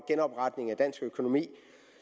genopretning af dansk økonomi